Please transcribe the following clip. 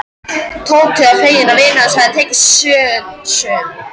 Tóti var feginn að vinur hans hafði tekið sönsum.